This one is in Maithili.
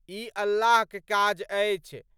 इ अल्लाह क काज अछि।